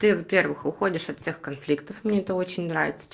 ты во-первых уходишь от всех конфликтов мне это очень нравится